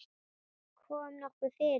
Kom nokkuð fyrir?